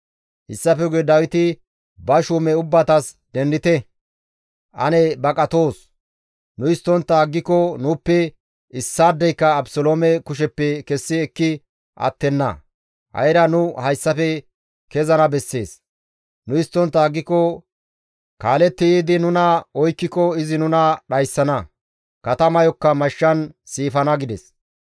Hessafe guye Dawiti ba shuume ubbatas, «Dendite; ane baqatoos; nu histtontta aggiko nuuppe issaadeyka Abeseloome kusheppe kessi ekki attenna; ha7ira nu hayssafe kezana bessees; nu histtontta aggiko kaaletti yiidi nuna oykkiko izi nuna dhayssana; katamayokka mashshan siifana» gides.